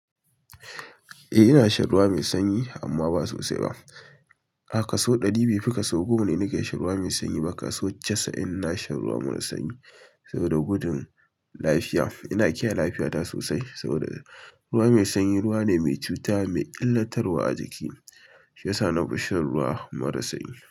Eh ina shan ruwa mai sanyi amma ba sosai ba. A kaso ɗari bai fi ka so goma ne nake sha ruwa mai sanyi ba. Kaso casa'in ina shan ruwa maras sanyi saboda gudun lafiya. Ina kiyaye lafiyata sosai, saboda ruwa mai sanyi, ruwa ne mai cuta mai illatarwa a jiki shi yasa na fi shan ruwa mara sanyi.